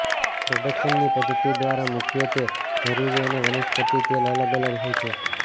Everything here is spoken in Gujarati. પ્રોડક્શનની પદ્ધતિ દ્વારા મુખ્યત્વે જરૂરી અને વનસ્પતિ તેલ અલગ અલગ હોય છે